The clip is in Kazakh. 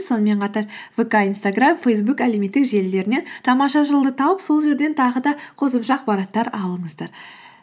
сонымен қатар вка инстаграм фейсбук әлеуметтік желілерінен тамаша жыл ды тауып сол жерден тағы да қосымша ақпараттар алыңыздар